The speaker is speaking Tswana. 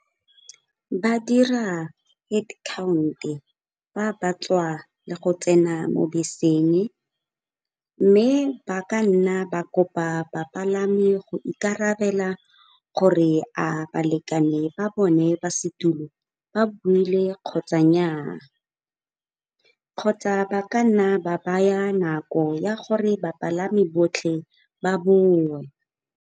Ba dira head count-e fa ba tswa le go tsena mo beseng mme ba ka nna ba kopa bapalami go ikarabela gore a balekane ba bone ba setulo ba buile kgotsa nnyaa. Kgotsa ba ka nna ba baya nako ya gore bapalami botlhe ba bowe.